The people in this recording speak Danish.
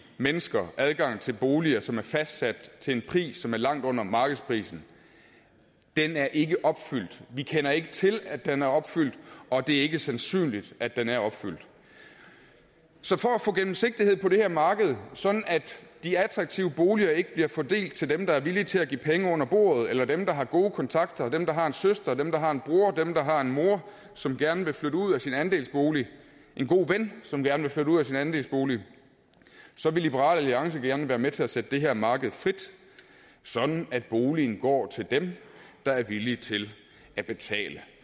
mennesker adgang til boliger som er fastsat til en pris som er langt under markedsprisen er ikke opfyldt vi kender ikke til at den er opfyldt og det er ikke sandsynligt at den er opfyldt så for at få gennemsigtighed på det her marked sådan at de attraktive boliger ikke bliver fordelt til dem der er villige til at give penge under bordet eller til dem der har gode kontakter og dem der har en søster dem der har en bror dem der har en mor som gerne vil flytte ud af sin andelsbolig en god ven som gerne vil flytte ud af sin andelsbolig vil liberal alliance gerne være med til at sætte det her marked frit sådan at boligen går til dem der er villige til at betale